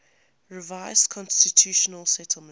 revised constitutional settlement